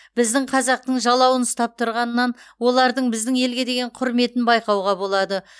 біздің қазақтың жалауын ұстап тұрғанынан олардың біздің елге деген құрметін байқауға болады